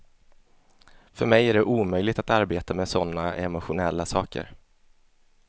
För mig är det omöjligt att arbeta med med sådana emotionella saker.